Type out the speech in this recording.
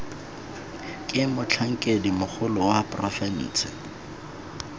ke motlhankedi mogolo wa porofense